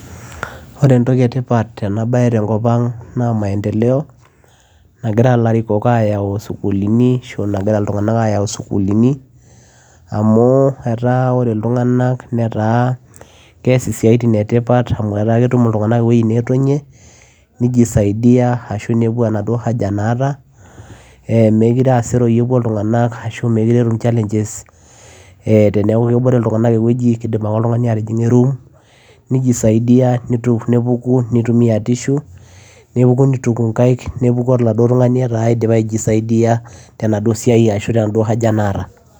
ore entoki etipat tena baye tenkop ang naa maendeleo nagira ilarikok ayau isukulini ashu nagira iltung'anak ayau isukulini amu etaa ore iltung'anak netaa kees isiaitin etipat amu etaa ketum iltung'anak ewoi netonie nijisaidia ashu nepuo enaduo haja naata eh mekire aseroi epuo iltung'anak ashu mekire etum challenges eh teneeku kebore iltung'anak ewueji kidim ake oltung'ani atijing'a e room nijisaidia nitu nepuku nitumia nitumia tissue nepuku nituku inkaik nepuku oladuo tung'ani etaa idipa aijisaidia tenaduo siai ashu tenaduo haja naata.